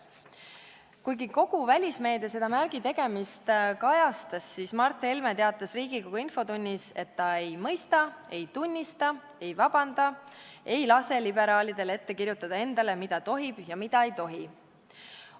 " Kuigi kogu välismeedia seda märgi tegemist kajastas, teatas Mart Helme Riigikogu infotunnis, et ta ei mõista, ei tunnista, ei vabanda, ei lase liberaalidel endale ette kirjutada, mida tohib ja mida ei tohi.